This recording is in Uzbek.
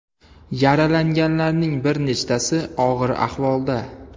Yaralanganlarning bir nechtasi og‘ir ahvolda.